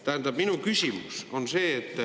Tähendab, minu küsimus on see.